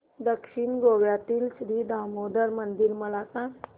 दक्षिण गोव्यातील श्री दामोदर मंदिर मला सांग